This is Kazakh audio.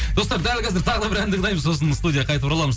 достар дәл қазір тағы да бір ән тыңдаймыз сосын студияға қайтып ораламыз